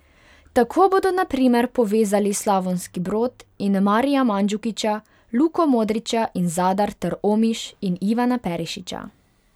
Tako bodo na primer povezali Slavonski Brod in Marija Mandžukića, Luko Modrića in Zadar ter Omiš in Ivana Perišića.